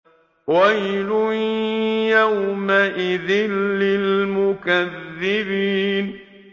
وَيْلٌ يَوْمَئِذٍ لِّلْمُكَذِّبِينَ